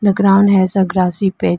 The ground has a grassy pi --